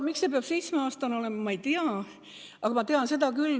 Miks see laps peab just seitsmeaastane olema?